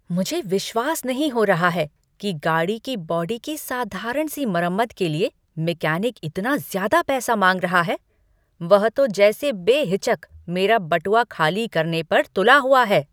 मुझे विश्वास नहीं हो रहा है कि गाड़ी की बॉडी की साधारण सी मरम्मत के लिए मैकेनिक इतना ज्यादा माँग रहा है! वह तो जैसे बेहिचक मेरा बटुआ खाली करने पर तुला हुआ है।